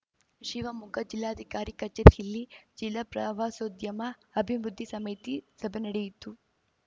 ಶೀವಮೊಗ್ಗ ಜಿಲ್ಲಾಧಿಕಾರಿ ಕಚೇರಿಯಲ್ಲಿ ಜಿಲ್ಲಾ ಪ್ರವಾಸೋದ್ಯಮ ಅಭಿವೃದ್ಧಿ ಸಮಿತಿ ಸಭೆ ನಡೆಯಿತು